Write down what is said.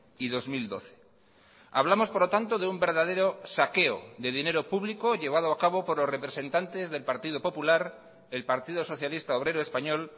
y dos mil doce hablamos por lo tanto de un verdadero saqueo de dinero público llevado a cabo por los representantes del partido popular el partido socialista obrero español